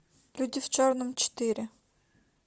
люди в черном четыре